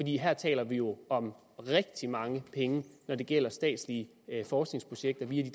her taler vi jo om rigtig mange penge når det gælder statslige forskningsprojekter via